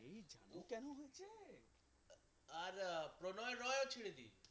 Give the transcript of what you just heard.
আর প্রণয় রয়ও ছিল যে